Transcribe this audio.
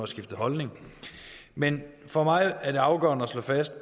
skiftet holdning men for mig er det afgørende at slå fast at